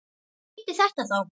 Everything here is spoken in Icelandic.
Hvað þýddi þetta þá?